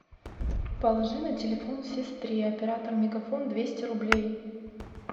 положи на телефон сестре оператор мегафон двести рублей